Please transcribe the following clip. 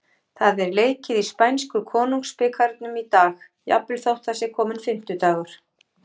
Það er leikið í spænsku Konungsbikarnum í dag, jafnvel þótt það sé kominn fimmtudagur.